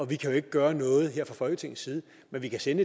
vi kan jo ikke gøre noget her fra folketingets side men vi kan sende